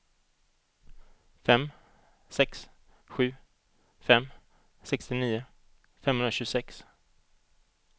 fem sex sju fem sextionio femhundratjugosex